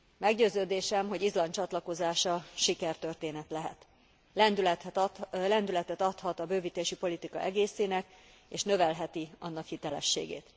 Meggyőződésem, hogy Izland csatlakozása sikertörténet lehet. Lendületet adhat a bővítési politika egészének, és növelheti annak sikerességét.